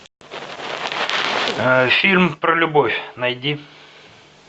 фильм про любовь найди